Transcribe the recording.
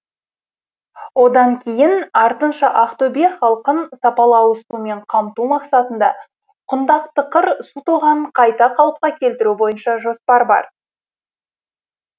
одан кейін артынша ақтөбе халқын сапалы ауызсумен қамту мақсатында құндақтықыр су тоғанын қайта қалыпқа келтіру бойынша жоспар бар